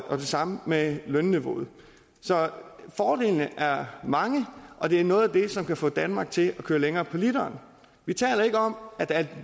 samme med lønniveauet så fordelene er mange og det er noget af det som kan få danmark til at køre længere på literen vi taler ikke om at at